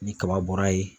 Ni kaba bɔra yen